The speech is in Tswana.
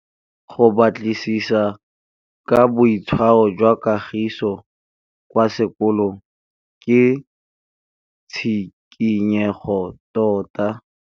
Go batlisisa ka boitshwaro jwa Kagiso kwa sekolong ke tshikinyêgô tota.